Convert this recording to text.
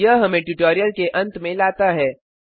यह हमें ट्यूटोरियल के अंत में लाता है